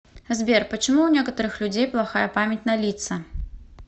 сбер почему у некоторых людей плохая память на лица